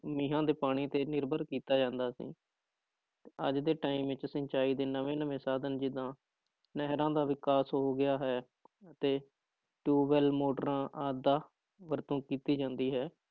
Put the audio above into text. ਮੀਂਹਾਂ ਦੇ ਪਾਣੀ ਤੇ ਨਿਰਭਰ ਕੀਤਾ ਜਾਂਦਾ ਸੀ ਤੇ ਅੱਜ ਦੇ time ਵਿੱਚ ਸਿੰਚਾਈ ਦੇ ਨਵੇਂ ਨਵੇਂ ਸਾਧਨ ਜਿੱਦਾਂ ਨਹਿਰਾਂ ਦਾ ਵਿਕਾਸ ਹੋ ਗਿਆ ਹੈ ਤੇ ਟਿਊਬਵੈਲ ਮੋਟਰਾਂ ਆਦਿ ਦਾ ਵਰਤੋਂ ਕੀਤੀ ਜਾਂਦੀ ਹੈ